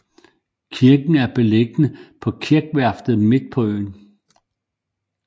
Kirken er beliggende på kirkvarftet midt på øen